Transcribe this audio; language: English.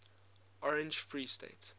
orange free state